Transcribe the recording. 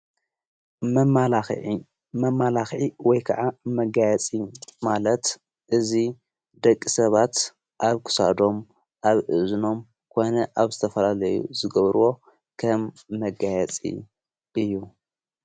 መማላኽዕ መማላኺዒ ወይ ከዓ መጋያፂ ማለት እዙ ደቂ ሰባት ኣብ ክሳዶም ኣብእዝኖም ኮነ ኣብ ዝተፈላለዩ ዝገብርዎ ከም መጋየፂ እዩ።